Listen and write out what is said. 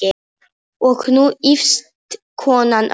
Og nú ýfist konan öll.